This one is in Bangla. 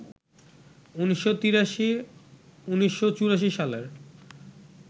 ১৯৮৩, ১৯৮৪ সালের